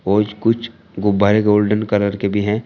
और कुछ गुब्बारे गोल्डन कलर के भी हैं।